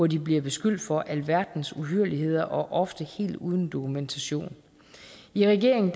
de bliver beskyldt for alverdens uhyrligheder ofte helt uden dokumentation i regeringen